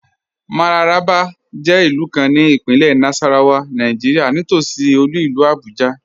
Mararaba jẹ ilù kàn ní Ìpínlẹ̀ Nasarawa, Nàìjíríà, nítòṣí olú ilù Abuja.